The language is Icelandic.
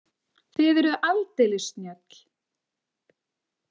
Þið eruð aldeilis snjöll.